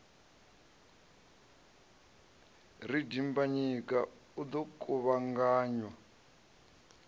ri dimbanyika o ḓo kuvhanganya